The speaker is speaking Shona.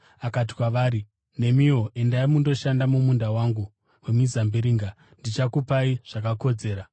Akati kwavari, ‘Nemiwo endai mundoshanda mumunda wangu wemizambiringa, ndichakupai zvakakodzera.’